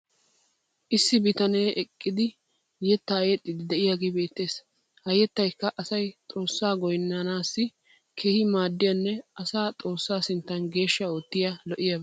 issi bitanee eqqidi yetaa yexxiidi diyaagee beetees. ha yettaykka asay xoossaa goynnanaassi keehi maadiyaanne asaa xoossaa sinttan geeshsha oottiya lo'iyaaba.